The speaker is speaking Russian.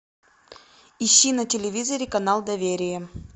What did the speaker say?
ищи на телевизоре канал доверие